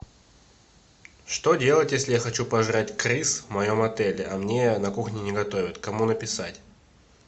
что делать если я хочу пожрать крыс в моем отеле а мне на кухне не готовят кому написать